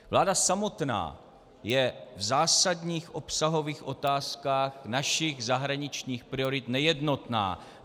Vláda samotná je v zásadních obsahových otázkách našich zahraničních priorit nejednotná.